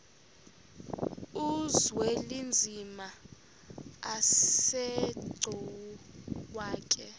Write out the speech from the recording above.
uzwelinzima asegcuwa ke